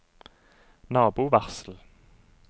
nabovarsel